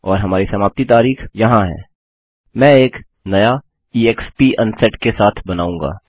और हमारी समाप्ति तारिख यहाँ है मैं एक न्य ईएक्सपी अनसेट के साथ बनाऊँगा